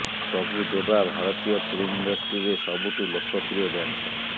ପ୍ରଭୁ ଦେବା ଭାରତୀୟ ଫିଲ୍ମ ଇଣ୍ଡଷ୍ଟ୍ରିରେ ସବୁଠୁ ଲୋକପ୍ରିୟ ଡ୍ୟାନସର